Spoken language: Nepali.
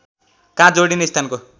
काँध जोडिने स्थानको